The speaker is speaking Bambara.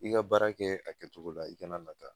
I ka baara kɛ a kɛcogo la, i kana nata